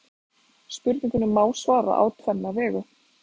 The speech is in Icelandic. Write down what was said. Spurningunni má svara á tvenna vegu.